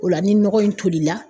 O la ni nɔgɔ in tolila